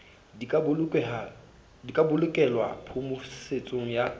di ka bolokelwa phomosetso ya